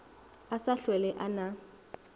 a sa hlwele a na